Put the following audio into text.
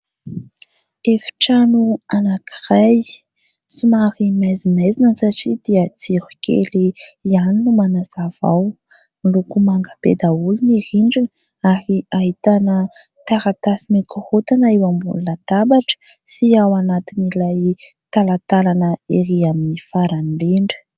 Efitrano anankiray somary maizimaizina satria dia jiro kely ihany no manazava ao. Miloko manga be daholo ny rindrina ary ahitana taratasy mikorontana eo ambony latabatra sy ao anatin'ilay talantalana erỳ amin'ny farany indrindra.